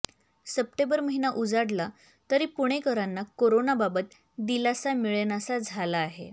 September महिना उजाडला तरी पुणेकरांना कोरोनाबाबत दिलासा मिळेनासा झाला आहे